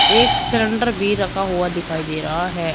एक सिलेंडर भी रखा हुआ दिखाई दे रहा है।